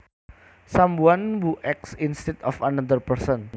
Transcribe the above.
Someone who acts instead of another person